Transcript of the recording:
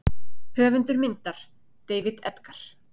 Höfundur myndar: David Edgar.